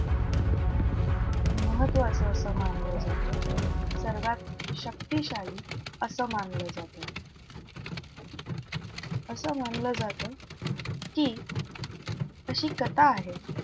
महत्वाचं असं मानलं जातं. सर्वात शक्तिशाली असं मानलं जातं. असं मानलं जातं की अशी कथा आहे,